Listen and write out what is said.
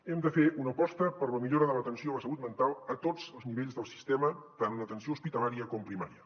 hem de fer una aposta per la millora de l’atenció a la salut mental a tots els nivells del sistema tant en l’atenció hospitalària com primària